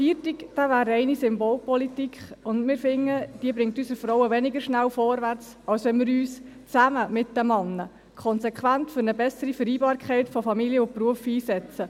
Ein Feiertag wäre reine Symbolpolitik, und wir finden, die bringt unsere Frauen weniger schnell vorwärts, als wenn wir uns zusammen mit den Männern konsequent für eine bessere Vereinbarkeit von Familie und Beruf einsetzen;